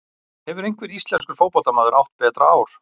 Hefur einhver íslenskur fótboltamaður átt betra ár?